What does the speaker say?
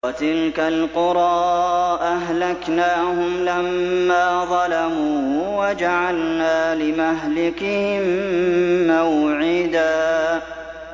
وَتِلْكَ الْقُرَىٰ أَهْلَكْنَاهُمْ لَمَّا ظَلَمُوا وَجَعَلْنَا لِمَهْلِكِهِم مَّوْعِدًا